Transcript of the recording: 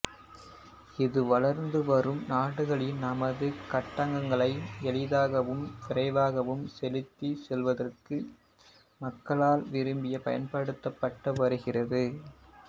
இது வளர்ந்துவரும் நாடுகளில் தமது கட்டணங்களை எளிதாகவும் விரைவாகவும் செலுத்திச் செல்வதற்கு மக்களால் விரும்பி பயன்படுத்தப்பட்டு வருகிறது